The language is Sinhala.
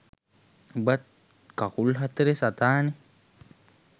උඹත් කකුල් හතරෙ සතානේ